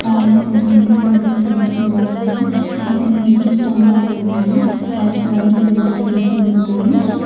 మరియు కొంతమంది ఫోటోలు దింపు తున్నారు ఇక్కడ కొన్ని విద్యుత్ స్తంభాలు ఉన్నాయి వాటికి వైర్లు వేలాడదీసి ఉన్నాయి.